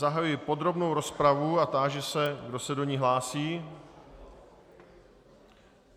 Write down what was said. Zahajuji podrobnou rozpravu a táži se, kdo se do ní hlásí.